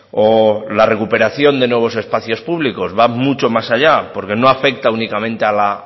o la recuperación de nuevos espacios públicos va mucho más allá porque no afecta únicamente a la